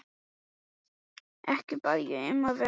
Ekki bað ég um að vera réttarvitni.